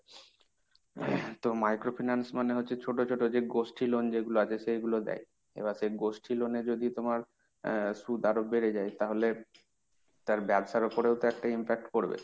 তো micro finance মানে হচ্ছে যে ছোট ছোট যে গোষ্ঠী loan যেগুলো আছে, সেগুলো দেয়। এবার সেই গোষ্ঠী loan এ যদি তোমার আহ সুদ আরো বেড়ে যায় তাহলে তার ব্যবসার ওপরেও একটা impact পড়বে।